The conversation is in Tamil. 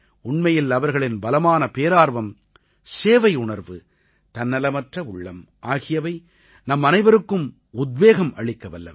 உண்மையில் அவர்களின் பலமான பேரார்வம் சேவையுணர்வு தன்னலமற்ற உள்ளம் ஆகியவை நம்மனைவருக்கும் உத்வேகம் அளிக்கவல்லவை